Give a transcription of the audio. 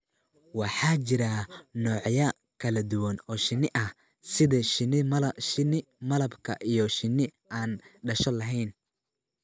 Waxaa jira noocyo kala duwan oo shinni ah, sida shinni malabka iyo shinni aan dhasho lahayn.